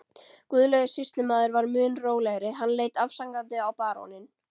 Guðlaugur sýslumaður var mun rólegri, hann leit afsakandi á baróninn.